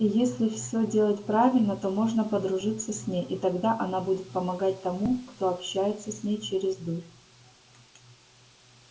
и если все делать правильно то можно подружиться с ней и тогда она будет помогать тому кто общается с ней через дурь